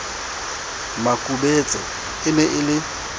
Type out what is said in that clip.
makubetse e ne e le